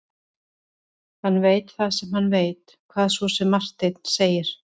Hann veit það sem hann veit, hvað svo sem Marteinn segir.